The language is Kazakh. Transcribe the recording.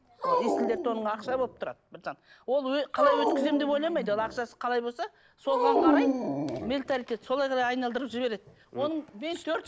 есіл дерті оның ақша болып тұрады ол қалай өткіземін деп ойламайды ол ақшасы қалай болса соған қарай менталитет солай арай айналдырып жібереді оның